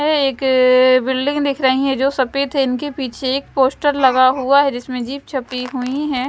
यह एक बिल्डिंग दिख रही है जो सफेद है इनके पीछे एक पोस्टर लगा हुआ है जिसमें जीप छपी हुई है।